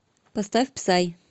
поставь псай